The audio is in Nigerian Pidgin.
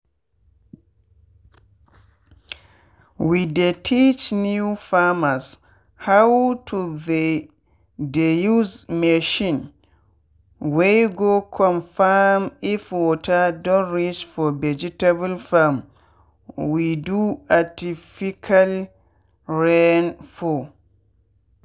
we dey teach new farmershow to the dey use machine wey go confirm if water don reach for vegetable farm we do artifical rain for.